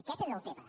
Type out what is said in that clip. aquest és el tema